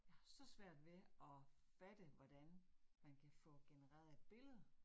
Jeg har så svært ved at fatte, hvordan man kan få genereret et billede